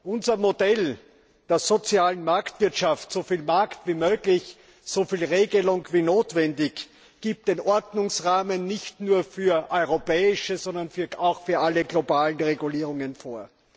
Unser Modell der sozialen Marktwirtschaft so viel Markt wie möglich, so viel Regelung wie notwendig gibt den Ordnungsrahmen nicht nur für europäische, sondern auch für alle globalen Regulierungen vor.